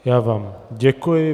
Já vám děkuji.